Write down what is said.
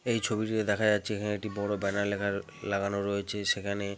এই ছবিটিতে দেখা যাচ্ছে এখানে একটি বড় ব্যানার লেখা লাগানো রয়েছে। সেখানে।